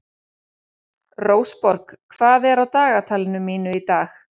Rósborg, hvað er á dagatalinu mínu í dag?